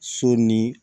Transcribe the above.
So ni